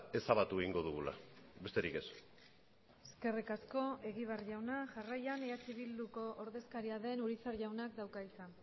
ezabatu egingo dugula besterik ez eskerrik asko egibar jauna jarraian eh bilduko ordezkaria den urizar jaunak dauka hitza